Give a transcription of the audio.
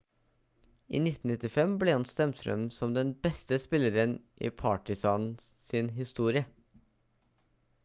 i 1995 ble han stemt frem som den beste spilleren i partizan sin historie